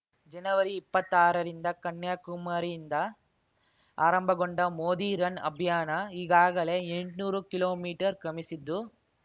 ಜನವರಿಇಪ್ಪತ್ತಾರರಿಂದ ಕನ್ಯಾಕುಮಾರಿಯಿಂದ ಆರಂಭಗೊಂಡ ಮೋದಿ ರನ್‌ ಅಭಿಯಾನ ಈಗಾಗಲೇ ಎಂಟ್ನೂರು ಕಿಲೋಮೀಟರ್‌ ಕ್ರಮಿಸಿದ್ದು